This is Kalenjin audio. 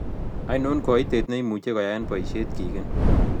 ainon koitet ne imuche koyaen poisyet kigen